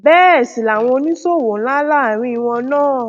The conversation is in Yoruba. bẹẹ sì làwọn oníṣòwò ńlá ńlá àárín wọn náà